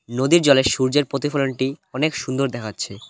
নদীর জলে সূর্যের প্রতিফলনটি অনেক সুন্দর দেখাচ্ছে।